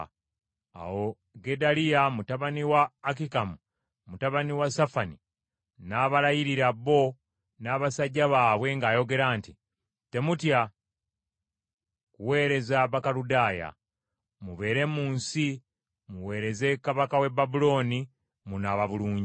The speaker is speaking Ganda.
Awo Gedaliya mutabani wa Akikamu mutabani wa Safani n’abalayirira bo n’abasajja baabwe ng’ayogera nti, “Temutya kuweereza Bakaludaaya. Mubeere mu nsi, muweereze kabaka w’e Babulooni munaaba bulungi.